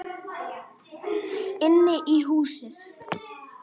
Inn í húsið?